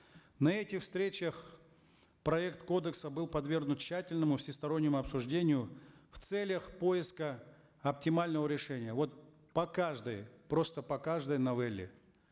на этих встречах проект кодекса был подвергнут тщательному всестороннему обсуждению в целях поиска оптимального решения вот по каждой просто по каждой новелле